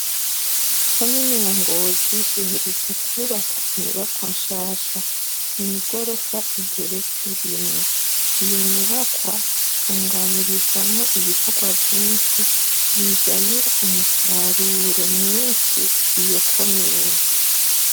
Komine Ngozi iherutse kwubaka inyubakwa nshasha. Ni igorofa igeretse rimwe. Iyo nyubakwa itunganirizwamwo ibikorwa vyinshi bizanira umusaruro mwinshi iyo komine.